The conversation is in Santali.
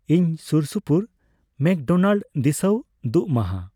ᱤᱧ ᱥᱩᱨᱥᱩᱯᱩᱨ ᱢᱮᱠᱰᱳᱱᱟᱰᱮᱞ ᱫᱤᱥᱟᱹᱩ ᱫᱩᱜ ᱢᱟᱦᱟ